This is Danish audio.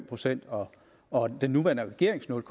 procent og og den nuværende regerings nul